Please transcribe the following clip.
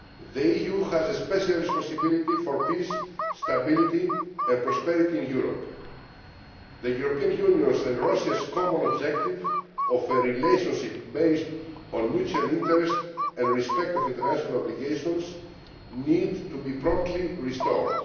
The EU has a special responsibility for peace, stability and prosperity in Europe. The European Union's and Russia's common objective of a relationship based on mutual interest and respect for international obligations needs to be promptly restored.